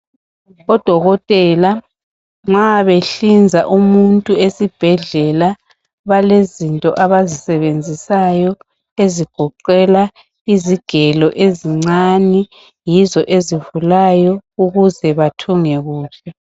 Odokotela nxa behlinza umuntu esibhedlela balezinto abazisebenzisayo ezigoqela izigelo ezincane. Yizo ezivulayo ukuze bathunge kuhle.